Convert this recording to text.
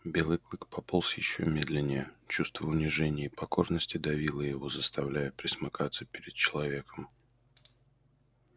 белый клык пополз ещё медленнее чувство унижения и покорности давило его заставляя пресмыкаться перед человеком